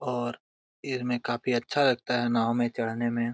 और काफी अच्छा लगता है नाव मे छड़ने मे--